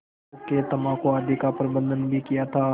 हुक्केतम्बाकू आदि का प्रबन्ध भी किया था